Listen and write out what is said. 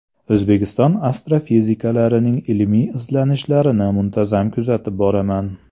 O‘zbekiston astrofiziklarining ilmiy izlanishlarini muntazam kuzatib boraman.